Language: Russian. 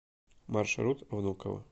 маршрут внуково